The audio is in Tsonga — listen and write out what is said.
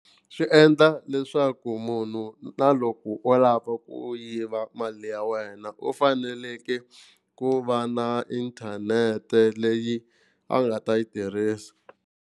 Swi endla leswaku munhu na loko o lava ku yiva mali ya wena u faneleke ku va na inthanete leyi a nga ta yi tirhisa.